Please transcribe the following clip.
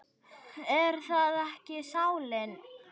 Er það ekki sálin?